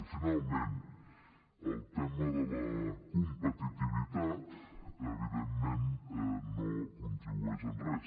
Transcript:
i finalment el tema de la competitivitat evidentment no contribueix en res